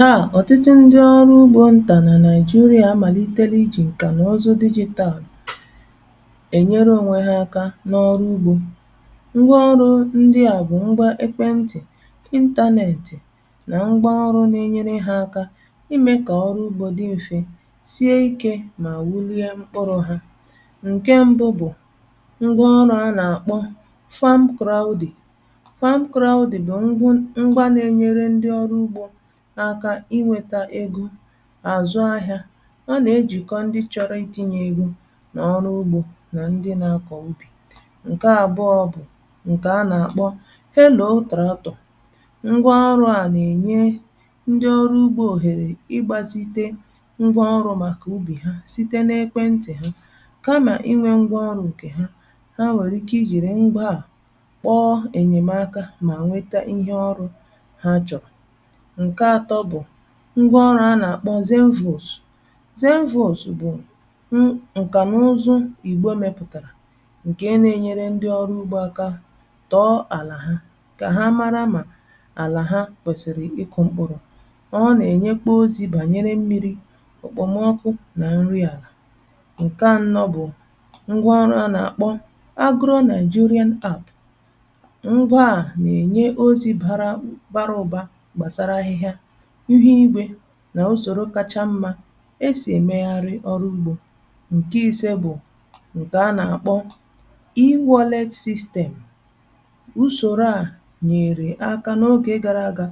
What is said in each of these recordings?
Taa ọ̀tụtụ ndị ọrụ ugbo ntà nà Naịjirịà màlitere i jì ǹkà nà ụzụ digital è nyere ònwe ha aka n’ọrụ ugbȯ. Ngwa ọrụ̇ ndịa bụ̀ ngwa ekwentị̀ internet nà ngwa ọrụ̇ n’enyere ha aka imė kà ọrụ ugbȯ dị m̀fe, sie ikė mà wulie mkpụrụ̇ ha. Nke mbụ bụ ngwa ọrụ a nà-àkpọ farm crowdy farm crowdy bụ̀ ngwụ ṅgwȧ na-enyere ndị ọrụ ugbȯ aka i nweta ego à zụ ahịa. A nà-ejìkọ ndi chọrọ i ti̇nyė ego n'ọrụ ugbȯ nà ndi na-akọ̀ ubì. Nke abụọ bụ nke a na-akpọ Hello tractor: ngwa ọrụ̇ a nà-ènye ndi ọrụ ugbȯ òhèrè ịgbȧsite ngwa ọrụ̇ màkà ubì ha site n’ekwentì ha. Kamà i nwė ngwa ọrụ̇ ǹkè ha, ha nwèrè ike i jìrì ngwaà kpọọ ènyèmaka mà nweta ihe ọrụ ha chọ̀rọ̀. Nke atọ bụ ngwa ọrụ́ a na-akpọ Zemvos: Zemvos bụ̀ ǹkà na ụzụ ìgbo mėpụ̀tàrà ǹkè nà-enyere ndị ọrụ ugbȯ aka tọọ àlà ha kà ha mara mà àlà ha kwèsìrì ịkụ̇ mkpụrụ̇. Ọọ́ nà-ènyekpo ozi̇ bànyere mmi̇ri̇, òkpomọkụ nà nri àlà. Nke anọ bụ́ ngwa ọrụ a na-akpọ Agro Nigerian App: ngwa à nà-ènye ozi̇ bàra bara ụ̀ba gbàsara ahịhịa, ihu igwe nà ùsòro kacha mmȧ esì èmegharị ọrụ ugbȯ. Nke ise bụ nke a na-akpọ E-wallet System: usòro à nyeere aka n’ogè gara aga,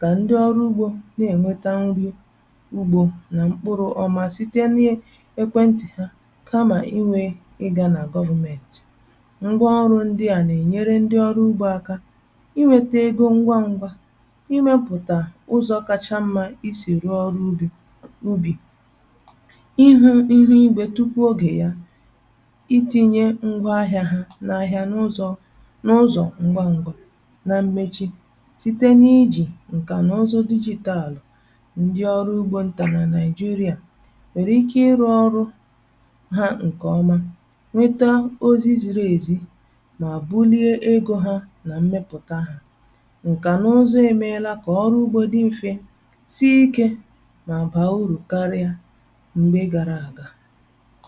kà ndị ọrụ ugbȯ na-ènweta nri ugbȯ nà mkpụrụ̇ ọma site n’ekwentị̀ ha kamà i nwė ị gȧ nà government. Ngwa ọrụ̇ ndị à nà-ènyere ndị ọrụ ugbȯ aka i nwėta ego ngwa ngwa, i mepụta ụ́zọ kacha mma i si rụọ́ ọrụ́ ubì, ị hụ ihu̇ igwė tupuu ogè ya, i ti̇nyė ngwa ahịȧ hȧ n’ahịa n’ụzọ̀ n’ụzọ̀ ngwangwȧ. Na mmechi, site n’ijì ǹkà na ụzụ digital, ndi ọrụ ugbȯ ntà na Nàị̀jịrị̀à nwèrè ike ịrụ ọrụ ha ǹkè ọma, nweta ozi ziri èzi, nà bụlie egȯ ha nà mmepùta hȧ. Nkà na ụzụ emeela kà ọrụ ugbo dị mfe, sie ike nà bàa urù karịa mgbe gara à ga.